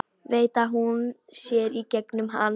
Veit að hún sér í gegnum hann.